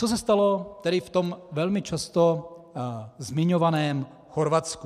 Co se stalo tedy v tom velmi často zmiňovaném Chorvatsku?